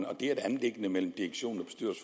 og det er et anliggende mellem direktion